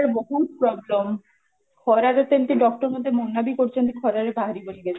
ରେ ବହୁତ problem ଖରା ରେ ତ ଏମିତି doctor ମୋତେ ମନା ବି କରିଛନ୍ତି ଖରାରେ ବାହାରିବନି ବୋଲି